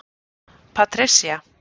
Patricia